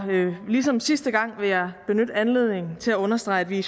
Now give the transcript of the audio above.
ligesom sidste gang vil jeg benytte anledningen til at understrege at vi i